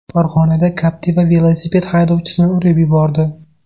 Farg‘onada Captiva velosiped haydovchisini urib yubordi.